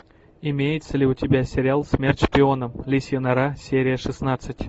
имеется ли у тебя сериал смерть шпионам лисья нора серия шестнадцать